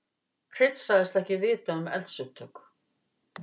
Hreinn sagðist ekki vita um eldsupptök